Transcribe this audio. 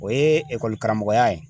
O ye karamɔgɔya ye.